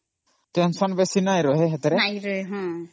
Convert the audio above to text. Tension ବେଶୀ ନାହିଁ